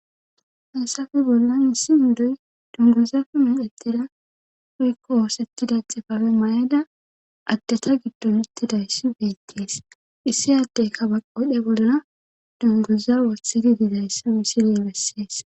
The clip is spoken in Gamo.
hassafe bollan issi indoy dunguzafe medettida huykko oosettida xifabe ma7eda addata giddon ittidayssi beettees issi addeykkabaqwodhe bollna dunguza wothidi didayssi wisiley bessees